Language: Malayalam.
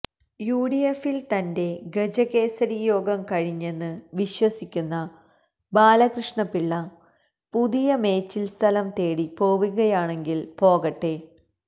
യുഡിഎഫിൽ തന്റെ ഗജകേസരിയോഗം കഴിഞ്ഞെന്ന് വിശ്വസിക്കുന്ന ബാലകൃഷ്ണപിള്ള പുതിയ മേച്ചിൽസ്ഥലം തേടി പോവുകയാണെങ്കിൽ പോകട്ടെ